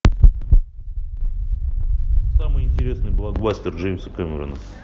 самый интересный блокбастер джеймса кэмерона